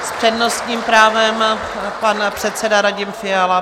S přednostním právem pan předseda Radim Fiala.